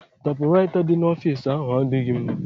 Taịpụraịta dị n'ọfici ahụ adịghịzị mma.